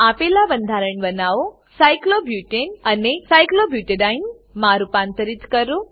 આપેલનાં બંધારણ બનાવો સાયક્લોબ્યુટાને સાયક્લોબ્યુટેન અને સાયક્લોબ્યુટેડીને સાયક્લોબ્યુટેડાઈન માં રૂપાંતરિત કરો